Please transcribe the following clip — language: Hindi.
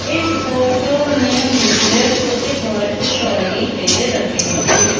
इस फोटो में मुझे कुछ घर दिखाई दे रहे हैं।